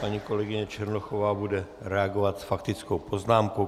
Paní kolegyně Černochová bude reagovat s faktickou poznámkou.